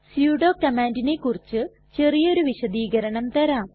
sudo കമാണ്ടിനെ കുറിച്ച് ചെറിയൊരു വിശദീകരണം തരാം